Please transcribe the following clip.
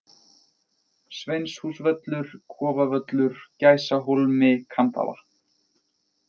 Sveinshúsvöllur, Kofavöllur, Gæsahólmi, Kambavatn